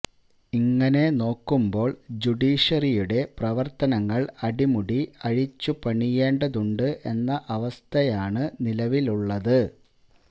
ഇങ്ങനെ നോക്കുമ്പോള് ജുഡീഷ്യറിയുടെ പ്രവര്ത്തനങ്ങള് അടിമുടി അഴിച്ചുപണിയേണ്ടതുണ്ട് എന്ന അവസ്ഥയാണ് നിലവിലുള്ളത്